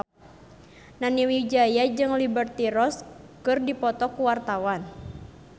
Nani Wijaya jeung Liberty Ross keur dipoto ku wartawan